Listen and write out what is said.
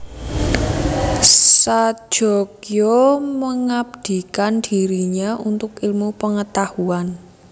Sajogyo mengabdikan dirinya untuk ilmu pengetahuan